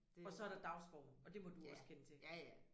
Og så er der dagsform. Og det må du også kende til